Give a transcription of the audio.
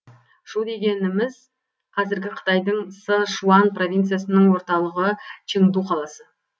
шу дегеніміз қазіргі қытайдың сы шуан провинциясының орталығы чыңду қаласы